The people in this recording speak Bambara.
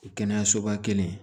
Kɛnɛyasoba kelen